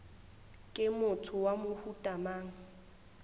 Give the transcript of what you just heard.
ke motho wa mohuta mang